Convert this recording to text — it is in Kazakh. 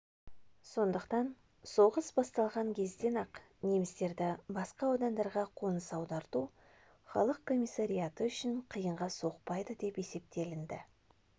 сондықтан соғыс басталған кезден-ақ немістерді басқа аудандарға қоныс аударту халық комиссариаты үшін қиынға соқпайды деп есептелінді